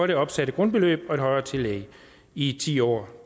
det opsatte grundbeløb og et højere tillæg i ti år